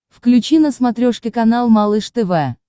включи на смотрешке канал малыш тв